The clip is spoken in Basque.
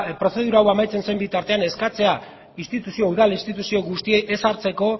prozedura hau amaitzen zen bitartean eskatzea udal instituzio guztiei ez sartzeko